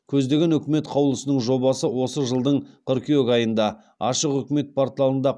көздеген үкімет қаулысының жобасы осы жылдың қыркүйек айында ашық үкімет порталында